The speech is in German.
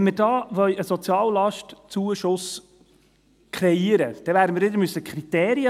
Wenn wir da einen «Soziallastzuschuss»kreieren wollen, dann brauchen wir wiederum Kriterien.